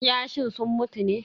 Kiyashin sun mutu ne?